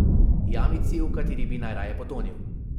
Jamici, v kateri bi najraje potonil.